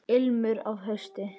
Ilmur af hausti!